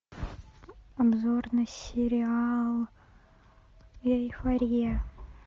обзор на сериал эйфория